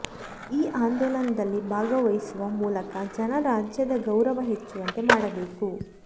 ಈ ಆಂದೋಲನದಲ್ಲಿ ಭಾಗವಹಿಸುವ ಮೂಲಕ ಜನ ರಾಜ್ಯದ ಗೌರವ ಹೆಚ್ಚುವಂತೆ ಮಾಡಬೇಕು